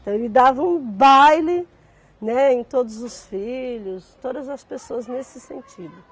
Então, ele dava um baile, né, em todos os filhos, todas as pessoas nesse sentido.